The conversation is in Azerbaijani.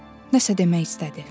Nə isə demək istədi.